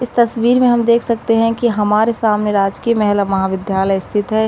इस तस्वीर में हम देख सकते हैं कि हमारे सामने राजकीय महिला विद्यालय स्थित है।